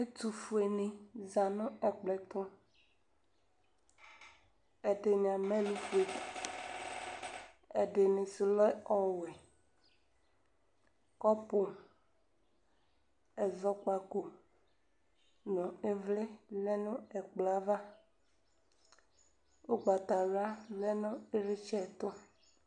Ɛtʋfueni zanʋ ɛkplɔ ɛtʋ ɛdini amɛ ɛlʋfue atani ɛdini sʋ lɛ ɔwɛ kɔpʋ ɛzɔkpako nʋ ivli lɛnʋ ɛkplɔ yɛ ava ʋgbatawla lɛnʋ ivlitsɛtʋ